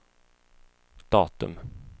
datum